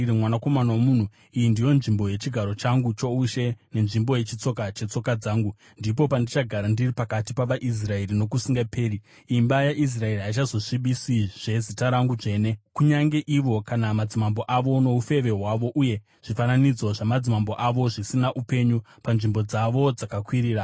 “Mwanakomana womunhu, iyi ndiyo nzvimbo yechigaro changu choushe nenzvimbo yechitsiko chetsoka dzangu. Ndipo pandichagara ndiri pakati pavaIsraeri nokusingaperi. Imba yaIsraeri haichazosvibisizve zita rangu dzvene kunyange ivo kana madzimambo avo, noufeve hwavo uye zvifananidzo zvamadzimambo avo, zvisina upenyu panzvimbo dzavo dzakakwirira.